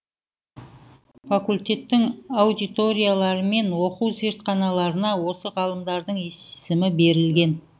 факультеттің аудиторияларымен оқу зертханаларына осы ғалымдардың есімімі берілген